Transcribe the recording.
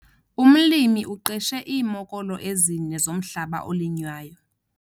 Umlimi uqeshe iimokolo ezine zomhlaba olinywayo.